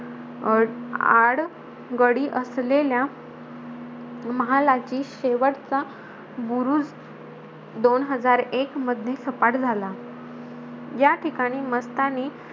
अं आडगडी असलेल्या महालाची शेवटचा बुरुज दोन हजार एक मध्ये सपाट झाला. या ठिकाणी मस्तानी,